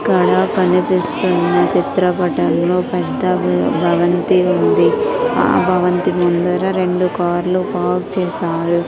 ఇక్కడ కనిపిస్తున్నా చిత్రపటములో ఒక పెద్ద బి-- భవంతి ఉంది ఆ భవంతి ముందర రెండు కార్ లు పార్క్ చేసారు.